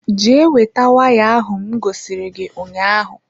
Jee weta waya ahụ m gosiri gị ụnyaahụ